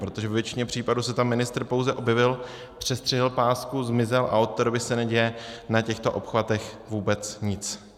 Protože ve většině případů se tam ministr pouze objevil, přestřihl pásku, zmizel a od té doby se neděje na těchto obchvatech vůbec nic.